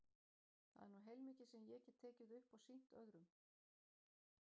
Það er nú heilmikið sem ég get tekið upp og sýnt öðrum.